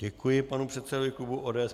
Děkuji panu předsedovi klubu ODS.